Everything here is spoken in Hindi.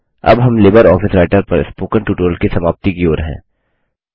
अब हम लिबर ऑफिस राइटर पर स्पोकन ट्यूटोरियल की समाप्ति की ओर हैं